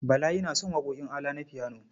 Bala yana son waƙoƙin ALA na fiyano.